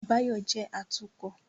Báyọ̀ jẹ́ atukọ̀